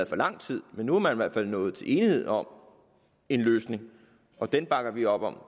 for lang tid men nu er man i hvert fald nået til enighed om en løsning og den bakker vi op om